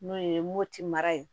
N'o ye mopti mara ye